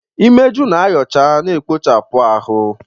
Imeju na-ayocha na ekpochapụ ahụ.